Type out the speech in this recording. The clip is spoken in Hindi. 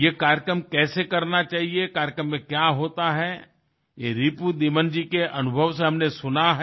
ये कार्यक्रम कैसे करना चाहिए कार्यक्रम में क्या होता है ये रिपुदमन जी के अनुभव से हमने सुना है